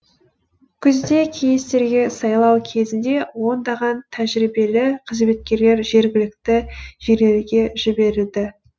күзде кеңестерге сайлау кезінде ондаған тәжірибелі қызметкерлер жергілікті жерлерге жіберілді